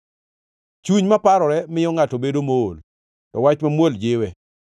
Chuny maparore miyo ngʼato bedo mool, to wach mamuol jiwe.